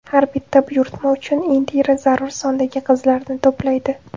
Har bitta buyurtma uchun Indira zarur sondagi qizlarni to‘playdi.